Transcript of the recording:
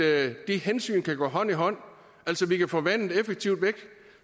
at de hensyn kan gå hånd i hånd altså at vi kan få vandet effektivt væk